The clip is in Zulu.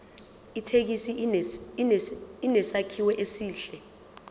ithekisi inesakhiwo esihle